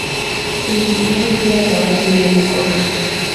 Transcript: ũigithia harĩ iganda wanjirie gũkũra.